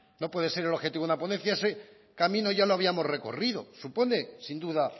no puede ser el objetivo una ponencia ese camino ya lo habíamos recorrido supone sin duda